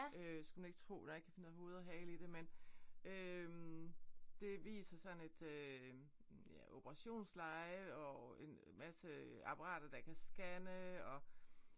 Skulle man ikke tro. Der er ikke rigtig noget hoved og hale i det men øh det viser sådan et øh ja operationsleje og en masse apparater der kan scanne og